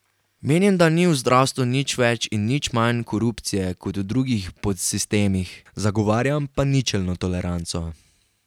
Menim, da ni v zdravstvu nič več in nič manj korupcije kot v drugih podsistemih, zagovarjam pa ničelno toleranco.